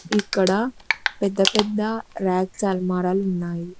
ఇక్కడ పెద్ద పెద్ద ర్యక్స్ ఆల్మరాలు ఉన్నాయి.